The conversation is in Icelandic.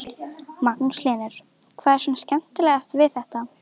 Magnús Hlynur: Hvað er svona skemmtilegast við þetta?